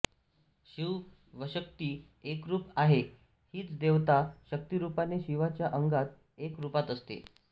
शिव वशक्ति एकरूप आहे हीच देवता शक्तीरूपाने शिवाच्या अंगात एक रुपात असते